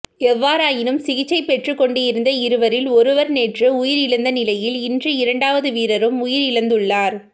எவ்வாறாயினும் சிகிச்சை பெற்றுக்கொண்டிருந்த இருவரில் ஒருவர் நேற்று உயிரிழந்திருந்த நிலையில் இன்று இரண்டாவது வீரரும் உயிரிழந்துள்ளார்